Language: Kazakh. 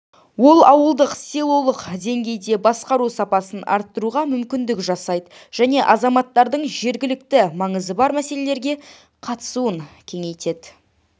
ол ауылдық селолық деңгейде басқару сапасын арттыруға мүмкіндік жасайды және азаматтардың жергілікті маңызы бар мәселелерге қатысуын кеңейтеді